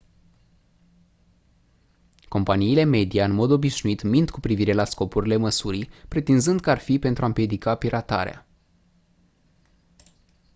companiile media în mod obișnuit mint cu privire la scopurile măsurii pretinzând că ar fi pentru a «împiedica piratarea».